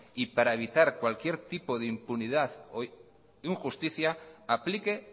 y para evitar cualquier tipo de impunidad o injusticia aplique